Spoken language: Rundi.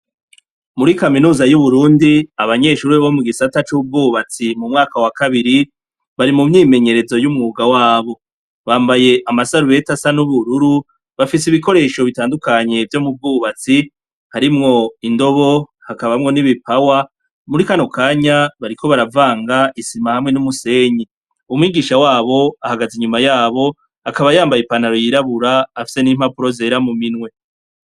Muri kaminuza y'uburundi abanyeshure bo mugisata c'ubwubatsi mu mwaka wa kabiri bari mumyimenyerezo y'umwunga wabo, bambaye amasarubeti asa n'ubururu bafise ibikoresho bitadukanye vyo mubwubatsi hamwo indobo hakabamwo n'ibopawa, muri kano kanya bariko baravaga isima hamwe numusenyi, umwigisha wabo ahagaze inyuma yabo akaba yambaye ipantaro y'irabura afise n'impapuro zera mu minwe.